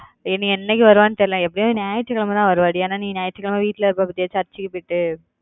என் என்னிக்கு வருவானு தெரியலை எப்பிடியும் ஞாயிறுக்கிழமை தான் வருவாடி ஏன்னா நீ ஞாயிறுக்கிழமை வீட்டுல இருப்ப பத்திய church க்கு போயிட்டு